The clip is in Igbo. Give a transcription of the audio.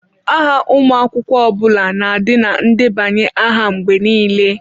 Aha ụmụ akwụkwọ ọ bụla na-adị na ndebanye aha mgbe niile.